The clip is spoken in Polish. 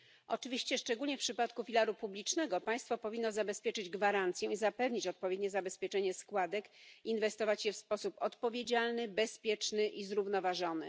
Oczywiście, szczególnie w przypadku filaru publicznego, państwo powinno zabezpieczyć gwarancje i zapewnić odpowiednie zabezpieczenie składek, inwestować je w sposób odpowiedzialny, bezpieczny i zrównoważony.